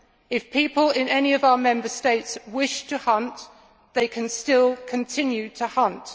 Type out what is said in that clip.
If people in any of our Member States wish to hunt, they can still continue to hunt.